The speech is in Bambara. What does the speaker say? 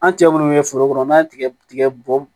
An cɛ munnu be foro kɔnɔ n'an ye tigɛ tigɛ bɔ